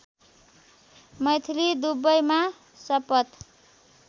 मैथिली दुबैमा शपथ